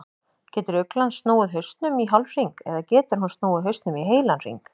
Getur uglan snúið hausnum í hálfhring eða getur hún snúið hausnum í heilan hring?